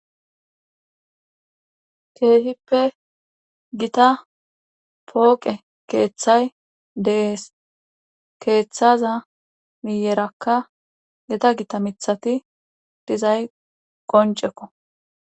Kehippe gitta pooqe keeththay dees keeththaza miyerakka gita gita miththati dizay qoncekko